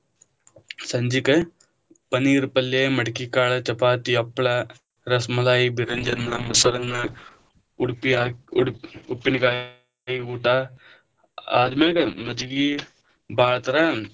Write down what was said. ಸಂಜಿಕ ಪನೀರ್ ಪಲ್ಲೆ, ಮಡಕಿ ಕಾಳ, ಚಪಾತಿ, ಹಪ್ಪಳ, ರಸಮಲೈ, ಬಿರಂಜಿ ಅನ್ನ, ಮೊಸರನ್ನ, ಉಡುಪಿ ಉಪ್ಪಿನಕಾಯಿ ಊಟಾ ಆದ್ಮೇಲೆ ಮಜ್ಜಗಿ ಬಾಳ ತರ.